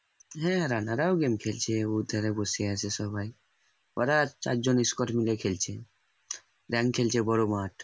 হ্যাঁ রানারাও game খেলছেওধারে বসে আছে সবাই ওরা চারজন খেলছে খেলছে বড় মাঠ।